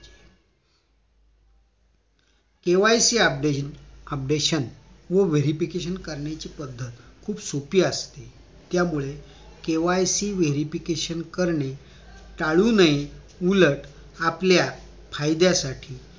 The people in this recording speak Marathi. KYC update updation व verification करण्याची पद्धत खूप सोपी असते त्यामुळे KYC verification करणं टाळू नये उलट आपल्या फायद्यासाठी